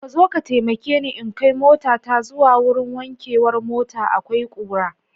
Kazo ka taimakeni in kai motata zuwa wurin wankewar mota akwai kura.